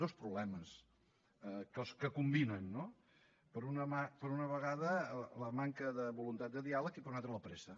dos problemes que combinen no per una vegada la manca de voluntat de diàleg i per una altra la pressa